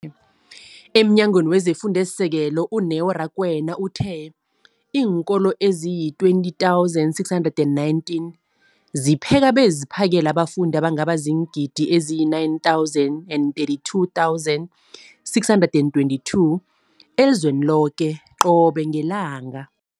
EmNyangweni wezeFundo esiSekelo, u-Neo Rakwena, uthe iinkolo ezizi-20 619 zipheka beziphakele abafundi abangaba ziingidi ezili-9 032 622 elizweni loke qobe ngelanga.